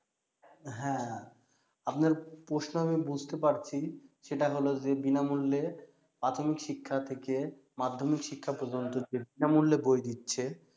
হ্যা আপনার প্রশ্ন আমি বুজতে পারছি সেটা হলো যে বিনামূল্যে প্রাথমিক শিক্ষা থেকে মাধ্যমিক শিক্ষা পর্যন্ত যে বিনামূল্যে বই দিচ্ছে